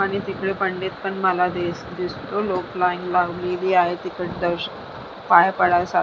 आणि तिकडे पंडित पण मला दिस दिसतो लोक तिकड लाईन लावलेली आहे तिकड दर्शन पाया पडायसाठी.